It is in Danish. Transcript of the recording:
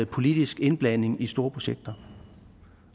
politisk indblanding i store projekter